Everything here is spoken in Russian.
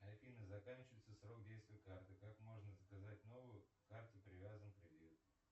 афина заканчивается срок действия карты как можно заказать новую к карте привязан кредит